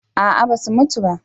A'a ba su mutu ba